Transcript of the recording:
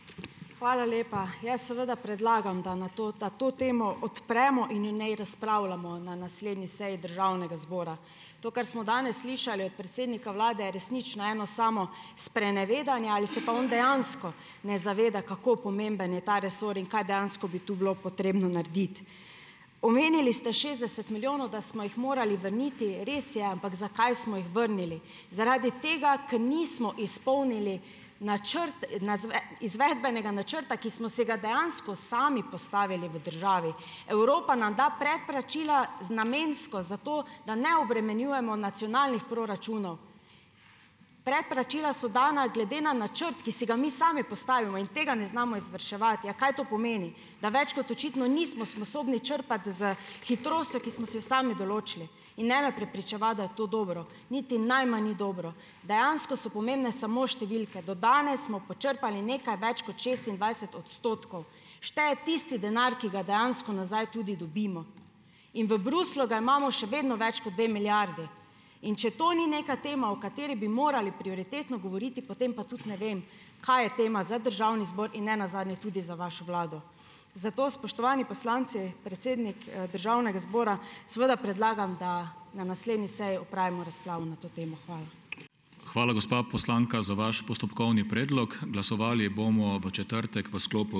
Hvala lepa. Jaz seveda predlagam, da na to da to temo odpremo in o njej razpravljamo na naslednji seji državnega zbora. To, kar smo danes slišali od predsednika vlade, resnično eno samo sprenevedanje ali se pa on dejansko ne zaveda, kako pomemben je ta resor in kaj dejansko bi to bilo potrebno narediti. Omenili ste šestdeset milijonov, da smo jih morali vrniti. Res je, ampak zakaj smo jih vrnili? Zaradi tega, ker nismo izpolnili načrt na izvedbenega načrta, ki smo se ga dejansko sami postavili v državi. Evropa nam da predplačila z namensko, zato da ne obremenjujemo nacionalnih proračunov. Predplačila so dana glede na načrt, ki si ga mi sami postavimo, in tega ne znamo izvrševati. A kaj to pomeni? Da več kot očitno nismo sposobni črpati s hitrostjo, ki smo si jo sami določili, in ne me prepričevati, da je to dobro, niti najmanj ni dobro. Dejansko so pomembne samo številke. Do danes smo počrpali nekaj več kot šestindvajset odstotkov. Šteje tisti denar, ki ga dejansko nazaj tudi dobimo. In v Bruslju ga imamo še vedno več kot dve milijardi, in če to ni neka tema, o kateri bi morali prioritetno govoriti, potem pa tudi ne vem, kaj je tema za državni zbor in ne nazadnje tudi za vašo vlado. Za to, spoštovani poslanci, predsednik, državnega zbora, seveda predlagam, da na naslednji seji opravimo razpravo na to temo. Hvala.